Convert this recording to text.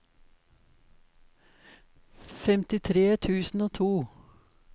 femtitre tusen og to